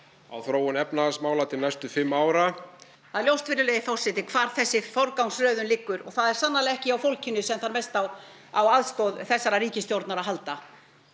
á þróun efnahagsmála til næstu fimm ára það er ljóst virðulegi forseti hvar þessi forgangsröðun liggur og það er sannarlega ekki hjá fólkinu sem þarf mest á á aðstoð þessarar ríkisstjórnar að halda